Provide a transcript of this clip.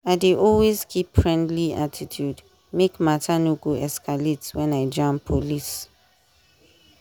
i dey always keep friendly attitude make matter no go escalate when i jam police.